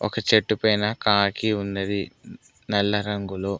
ఒక చెట్టు పైన కాకి ఉన్నది నల్ల రంగులొ.